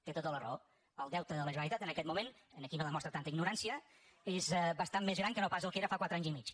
té tota la raó el deute de la generalitat en aquest moment aquí no demostra tanta ignorància és bastant més gran que no pas el que era fa quatre anys i mig